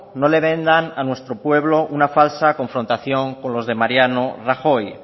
no le vendan a nuestro pueblo una falsa confrontación con los de mariano rajoy